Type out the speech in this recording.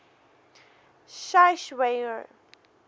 schweizer